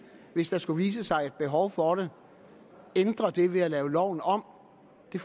hvis der skulle vise sig et behov for det ændre det ved at lave loven om det